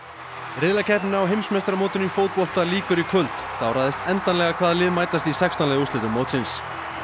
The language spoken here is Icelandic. riðlakeppninni á heimsmeistaramótinu í fótbolta lýkur í kvöld þá ræðst endanlega hvaða lið mætast í sextán liða úrslitum mótsins